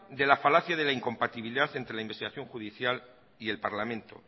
de la falacia de la incompatibilidad entre la investigación judicial y el parlamento